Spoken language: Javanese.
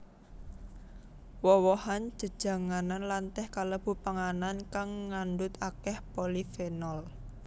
Woh wohan jejanganan lan teh kalebu panganan kang ngandhut akèh polifenol